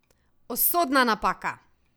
Usodna napaka!